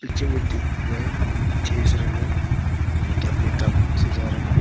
नीचे में दिख रहा है ढेर सारा लोग जो कि अपने काम से जा रहा है।